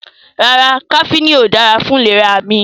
No, caffine is not good for my health